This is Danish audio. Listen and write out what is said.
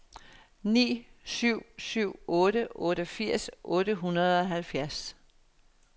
ni syv syv otte otteogfirs otte hundrede og halvfjerds